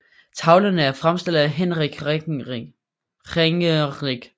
Tavlerne er fremstillet af Hinrich Ringerinck